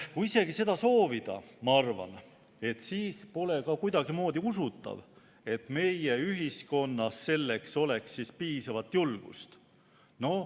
Kui isegi seda soovida, ma arvan, siis pole ka kuidagimoodi usutav, et meie ühiskonnas oleks selleks piisavalt julgust.